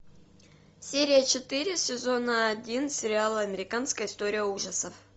серия четыре сезона один сериала американская история ужасов